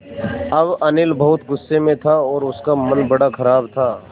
अब अनिल बहुत गु़स्से में था और उसका मन बड़ा ख़राब था